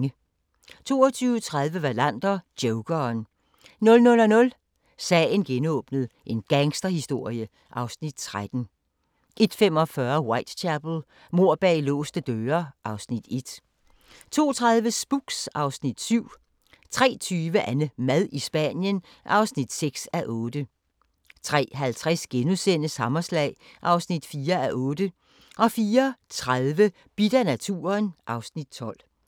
22:30: Wallander: Jokeren 00:00: Sagen genåbnet: En gangsterhistorie (Afs. 13) 01:45: Whitechapel: Mord bag låste døre (Afs. 1) 02:30: Spooks (Afs. 7) 03:20: AnneMad i Spanien (6:8) 03:50: Hammerslag (4:8)* 04:30: Bidt af naturen (Afs. 12)